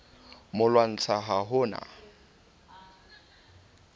mo lwantsha ha ho na